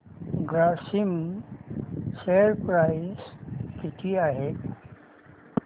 Grasim share price किती आहे